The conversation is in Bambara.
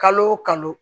Kalo o kalo